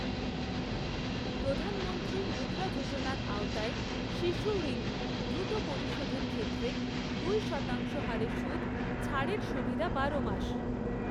প্রধানমন্ত্রী মুদ্রা যোজনার আওতায় শিশুঋণ দ্রুত পরিশোধের ক্ষেত্রে দুই শতাংশ হারে সুদ, ছাড়ের সুবিধা বারো মাস।